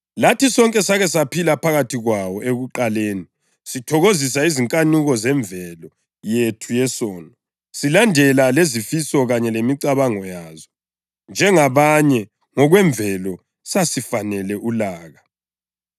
Lathi sonke sake saphila phakathi kwabo ekuqaleni, sithokozisa izinkanuko zemvelo yethu yesono, silandela lezifiso kanye lemicabango yazo. Njengabanye, ngokwemvelo sasifanele ulaka.